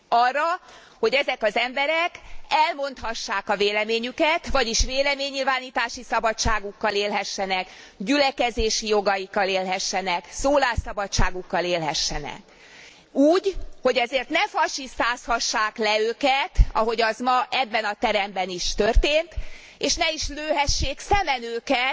Arra, hogy ezek az emberek elmondhassák a véleményüket, vagyis véleménynyilvánítási szabadságukkal élhessenek, gyülekezési jogaikkal élhessenek, szólásszabadságukkal élhessenek úgy, hogy ezért ne fasisztázhassák le őket, ahogy az ma ebben a teremben is történt, és ne is lőhessék szemen őket,